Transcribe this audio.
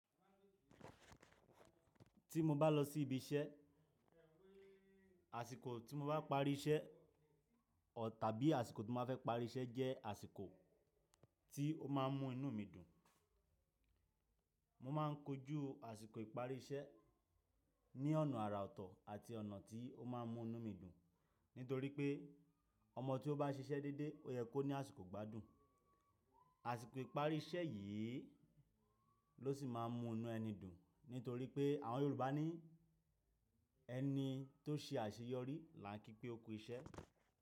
Ti mo bá lọ sí ibi iṣẹ́, àsìkò tí mo bá parí iṣẹ́ ọ tàbí àsìkò tí mo bá fẹ́ parí iṣẹ́ jẹ́ àsìkò tí ó máa ń mú inú mi dùn. Mo máa ń kojú àsìkò ìparí iṣẹ́ ní ọ̀nà àrà ọ̀tọ̀ àti ọ̀nà tí ó máa ń mú inú mi dùn. Nítorí pé ọmọ tí ó bá ṣiṣẹ́ dédé, ó yẹ kó ní àsìkò gbádùn. Àsìkò ìparí iṣẹ́ yìí ló sì máa ń mú inú ẹni dùn. Nítorí pé àwọn Yorùbá ní “ẹni tó ṣe àṣeyọrí làá kí pé ó kú iṣẹ́”.